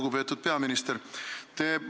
Lugupeetud peaminister!